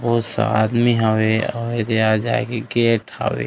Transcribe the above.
बहुत सा आदमी हवे आऊ येदे आए-जाए के गेट हवे।